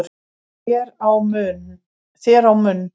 þér á munn